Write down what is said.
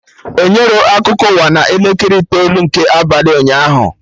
Enyerọ akụkọ ụwa na elekere itoolu nke abalị ụnyaahụ